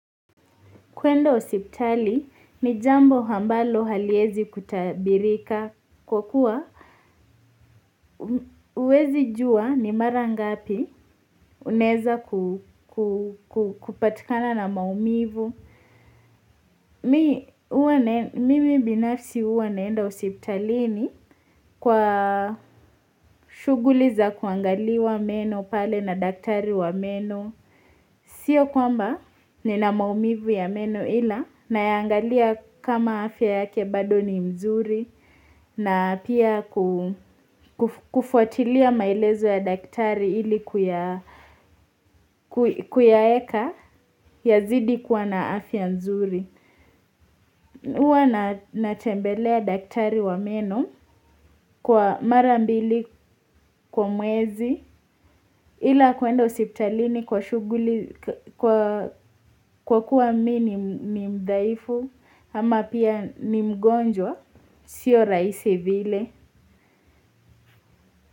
Kwenda hospitali ni jambo ambalo haliwezi kutabirika kwa kuwa huwezi kujua ni mara ngapi unaweza kupatwa na maumivu. Mimi binafsi huwa naenda hospitalini kwa shughuli za kuangaliwa meno pale na daktari wa meno sio kwamba nina maumivu ya meno ila nayaangalia kama afya yake bado ni nzuri na pia kufuatilia maelezo ya daktari ili kuyaweka yazidi kuwa na afya nzuri. Huwa natembelea daktari wa meno mara mbili kwa mwezi ila kuenda hospitalini kwa shughuli kwa kuwa mimi ni mdhaifu ama pia ni mgonjwa sio rahisi vile.